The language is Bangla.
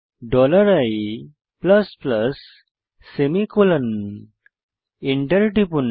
dollar i plus plus semicolon enter টিপুন